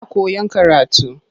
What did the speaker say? Ta fara koyan karatu.